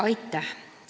Aitäh!